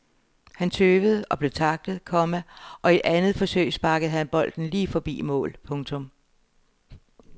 Han tøvede og blev tacklet, komma og i andet forsøg sparkede han bolden lige forbi mål. punktum